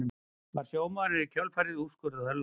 Var sjómaðurinn í kjölfarið úrskurðaður látinn